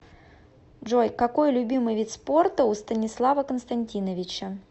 джой какой любимый вид спорта у станислава константиновича